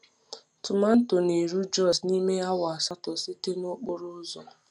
Tomanto na-eru Jos n’ime awa asatọ site n’okporo ụzọ.